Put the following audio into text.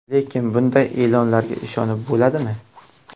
Lekin bunday e’lonlarga ishonib bo‘ladimi?